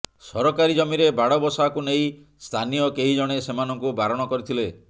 ସରକାରୀ ଜମିରେ ବାଡ ବସାକୁ ନେଇ ସ୍ଥାନୀୟ କେହି ଜଣେ ସେମାନଙ୍କୁ ବାରଣ କରିଥିଲେ